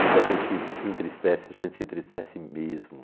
Quando a gente se entristece, a gente se entristece mesmo.